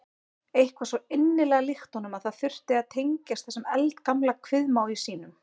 Eitthvað svo innilega líkt honum að þurfa að tengjast þessum eldgamla kviðmági sínum.